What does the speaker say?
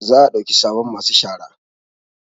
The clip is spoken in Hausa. Za a ɗauki sabon masu shara